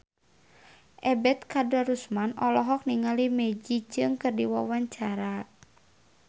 Ebet Kadarusman olohok ningali Maggie Cheung keur diwawancara